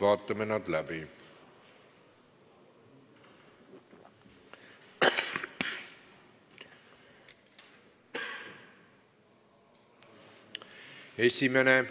Vaatame nad läbi: esimene,